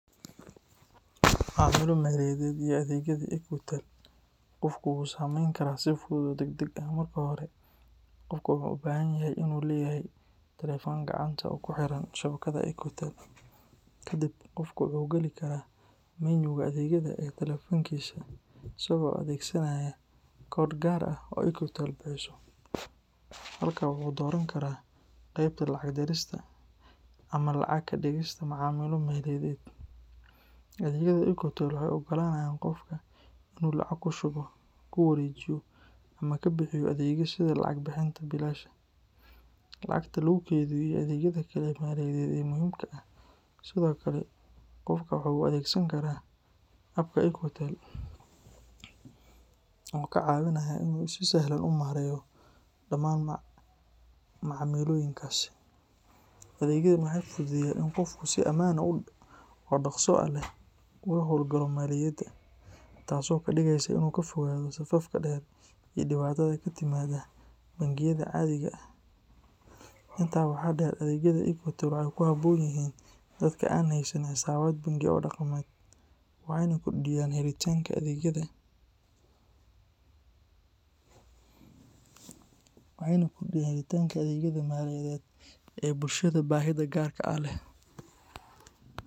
Macamilo maliyadeed iyo adeegyadii Equitel qofku wuu samayn karaa si fudud oo degdeg ah. Marka hore, qofka wuxuu u baahan yahay inuu leeyahay taleefan gacanta oo ku xiran shabakadda Equitel. Kadib, qofku wuxuu gali karaa menu-ga adeegyada ee taleefankiisa isagoo adeegsanaya koodh gaar ah oo Equitel bixiso. Halkaa wuxuu ka dooran karaa qeybta lacag dirista ama lacag ka dhigista macaamilo maliyadeed. Adeegyada Equitel waxay u oggolaanayaan qofka inuu lacag ku shubo, ku wareejiyo, ama ka bixiyo adeegyo kale sida lacag bixinta biilasha, lacagta lagu kaydiyo, iyo adeegyada kale ee maaliyadeed ee muhiimka ah. Sidoo kale, qofka waxa uu adeegsan karaa App-ka Equitel oo ka caawinaya inuu si sahlan u maareeyo dhammaan macaamilooyinkaasi. Adeegyadan waxay fududeeyaan in qofku si ammaan ah oo dhaqso leh ugu howlgalo maaliyadda, taasoo ka dhigaysa in uu ka fogaado safafka dheer iyo dhibaatada ka timaada bangiyada caadiga ah. Intaa waxaa dheer, adeegyada Equitel waxay ku habboon yihiin dadka aan haysan xisaabaad bangi oo dhaqameed, waxayna kordhiyaan helitaanka adeegyada maaliyadeed ee bulshada baahida gaarka ah leh.